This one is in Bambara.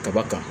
Kaba kan